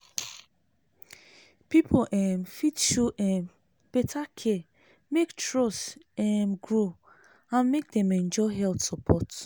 people um fit show um better care make trust um grow and make dem enjoy health support.